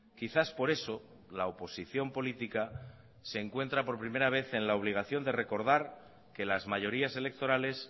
quizás por eso la oposición política se encuentra por primera vez en la obligación de recordar que las mayorías electorales